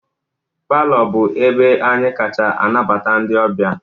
Palọ bụ ebe anyị kacha anabata ndị ọbịa